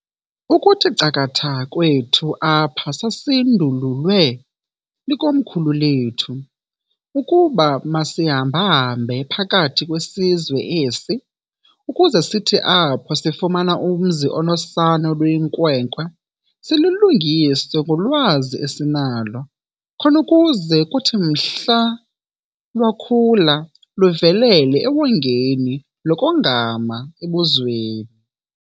"Ukuthi cakatha kwethu apha sasindululwe likomkhulu lethu, ukuba masihamba-hambe phakathi kwesizwe esi, ukuze sithi apho sifumana umzi onosana oluyinkwenkwe silulungise ngolwazi esinalo, khon'ukuze kuthi mhla lwakhula luvelele ewongeni lokongama ebuzweni.